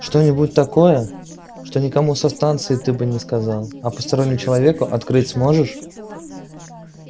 что-нибудь такое что никому со станции ты бы не сказал а постороннему человеку открыть сможешь